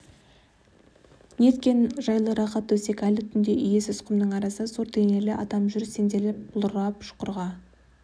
неткен жайлы рақат төсек айлы түнде иесіз құмның арасында зор денелі адам жүр сенделіп құлдырап шұқырға